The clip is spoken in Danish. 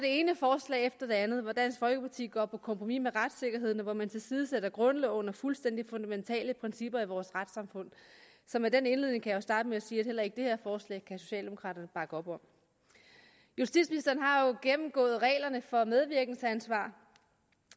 ene forslag efter det andet hvor dansk folkeparti går på kompromis med retssikkerheden og hvor man tilsidesætter grundloven og fuldstændig fundamentale principper i vores retssamfund så med den indledning kan jeg jo starte med at sige at heller ikke det her forslag kan socialdemokraterne bakke op om justitsministeren har gennemgået reglerne for medvirkensansvar